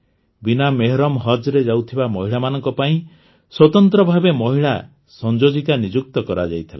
ବିନା ମେହରମ୍ ହଜ୍ରେ ଯାଉଥିବା ମହିଳାମାନଙ୍କ ପାଇଁ ସ୍ୱତନ୍ତ୍ର ଭାବେ ମହିଳା ସଂଯୋଜିକା ନିଯୁକ୍ତ କରାଯାଇଥିଲା